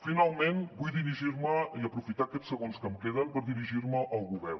finalment vull aprofitar aquests segons que em queden per dirigir me al govern